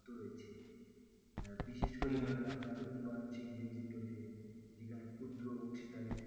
বিশেষ করে উন্নয়নশীল দেশ গুলিতে যেখানে ক্ষুদ্র অংশীদারি